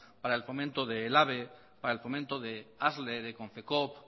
para el fomento de para el fomento de asle de confecoop